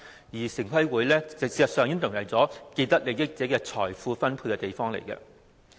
事實上，城規會已淪為既得利益者進行財富分配的地方。